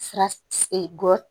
Sira gɔ